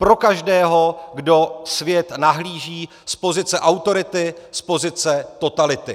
Pro každého, kdo svět nahlíží z pozice autority, z pozice totality.